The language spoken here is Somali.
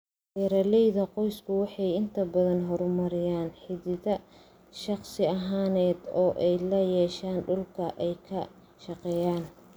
Beeralayda qoysku waxay inta badan horumariyaan xidhiidh shakhsi ahaaneed oo ay la yeeshaan dhulka ay ka shaqeeyaan.